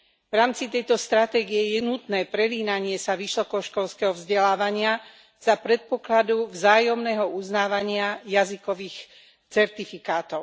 V rámci tejto stratégie je nutné prelínanie sa vysokoškolského vzdelávania za predpokladu vzájomného uznávania jazykových certifikátov.